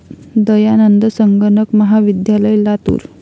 दयानंद संगणक महाविद्यालय, लातूर